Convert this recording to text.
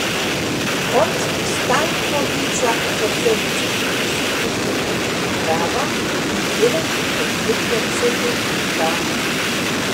Od Stankovića so se v časopisih poslovili uprava in delavci podjetja Cedevita.